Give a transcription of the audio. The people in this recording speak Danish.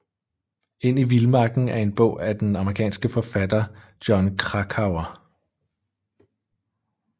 Ind i Vilmarken er en bog af den amerikanske forfatter Jon Krakauer